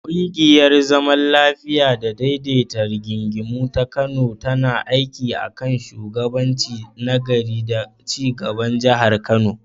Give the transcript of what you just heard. Ƙungiyar zaman lafiya da daidaita rigingimu ta Kano tana aiki a kan shugabanci na gari da ci gaban Jihar Kano.